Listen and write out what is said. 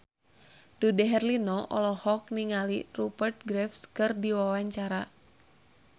Dude Herlino olohok ningali Rupert Graves keur diwawancara